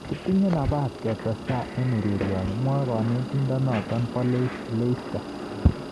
"Kitinye nabas ketestai eng ureryoni", mwae kanetindenoto bo Leicester